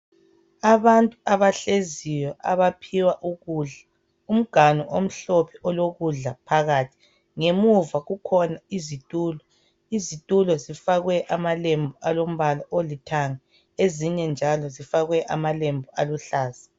Abantu abahleziyo abaphiwa ukudla. Umganu omhlophe olokudla phakathi. Ngemuva kukhona izitulo. Izitulo zifakwe amalembu alombala olithanga. Ezinye njalo zifakwe amalembu aluhlaza.